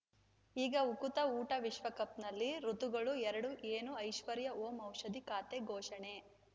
ಈಗ ಉಕುತ ಊಟ ವಿಶ್ವಕಪ್‌ನಲ್ಲಿ ಋತುಗಳು ಎರಡು ಏನು ಐಶ್ವರ್ಯಾ ಓಂ ಔಷಧಿ ಖಾತೆ ಘೋಷಣೆ